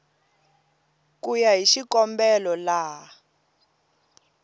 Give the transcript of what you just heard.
ku ya hi xikombelo laha